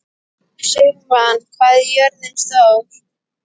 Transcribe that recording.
Sigmann, hvað er jörðin stór?